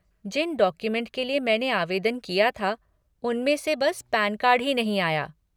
जिन document के लिए मैंने आवेदन किया था उनमें से बस पैनकार्ड ही नहीं आया।